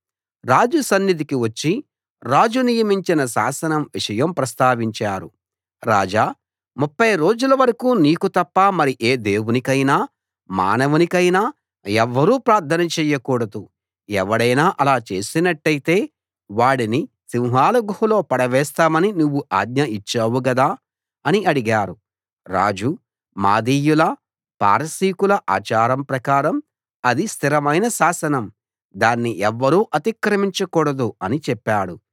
రాజు సన్నిధికి వచ్చి రాజు నియమించిన శాసనం విషయం ప్రస్తావించారు రాజా 30 రోజుల వరకూ నీకు తప్ప మరి ఏ దేవునికైనా మానవునికైనా ఎవ్వరూ ప్రార్థన చేయకూడదు ఎవడైనా అలా చేసినట్టైతే వాడిని సింహాల గుహలో పడవేస్తామని నువ్వు ఆజ్ఞ ఇచ్చావు గదా అని అడిగారు రాజు మాదీయుల పారసీకుల ఆచారం ప్రకారం అది స్థిరమైన శాసనం దాన్ని ఎవ్వరూ అతిక్రమించకూడదు అని చెప్పాడు